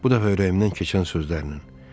Bu dəfə ürəyimdən keçən sözlərlə.